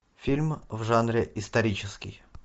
фильм в жанре исторический